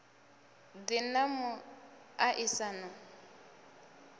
ḓi na mu a isano